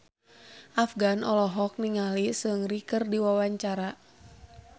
Afgan olohok ningali Seungri keur diwawancara